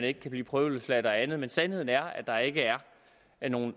ikke kan blive prøveløsladt og andet men sandheden er at der ikke er er nogen